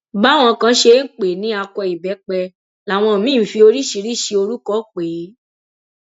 báwọn kan ṣe ń pè é ní akọ ìbẹpẹ làwọn míín ń fi oríṣiríṣii orúkọ pè é